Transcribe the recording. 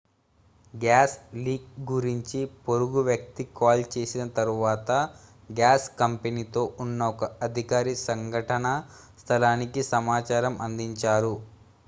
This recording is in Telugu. గ్యాస్ లీక్ గురించి పొరుగువ్యక్తి కాల్ చేసిన తరువాత గ్యాస్ కంపెనీ తో ఉన్న ఒక అధికారి సంఘటనా స్థలానికి సమాచారం అందించారు